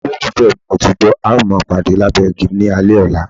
Olólùfẹ́ mi, mo ti gbọ́, a máa pàdé lábẹ́ igi ní alẹ́ ọ̀la.